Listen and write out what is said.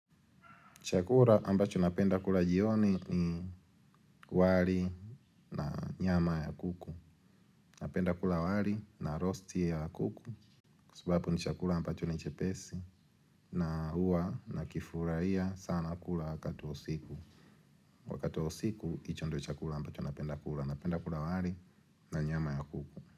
Chakula ambacho napenda kula jioni ni wali na nyama ya kuku. Napenda kula wali na rosti ya kuku. Kwa sababu ni chakula ambacho ni chepesi. Na huwa nakifurahia sana kula wakati wa usiku. Wakati wa siku, hicho ndio chakula ambacho napenda kula. Napenda kula wali na nyama ya kuku.